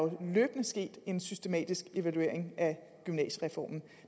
sket en systematisk evaluering af gymnasiereformen